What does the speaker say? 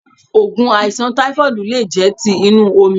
Ògùn àìsàn táífọ́ọ̀dù lé jẹ́ ti inú omi